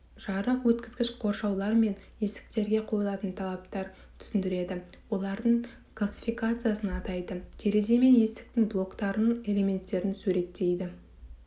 жарық өткізгіш қоршаулар мен есіктерге қойылатын талаптар түсіндіреді олардың қлассификациясын атайды терезе мен есіктің блоктарының элементтерін суреттейді